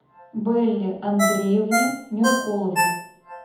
белле андреевне меркуловой